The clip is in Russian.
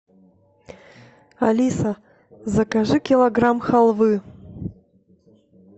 алиса закажи килограмм халвы